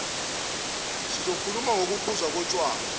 sizokhuluma ngokuphuzwa kotshwala